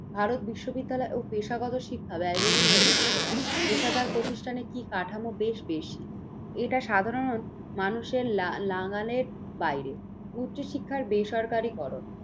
ভারত বিশ্ববিদ্যালয় ও পেশাগত শিক্ষা ব্যায়বহুল হয়ে উঠেছে। পেশাদার প্রতিষ্ঠানে কি কাঠামো বেশ বেশি। এটা সাধারণ মানুষের লা নাগালের বাইরে উচ্চ শিক্ষায় বেসরকারিকরণ